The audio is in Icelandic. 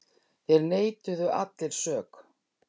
Þeir neituðu allir sök.